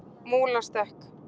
Múlastekk